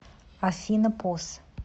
афина пос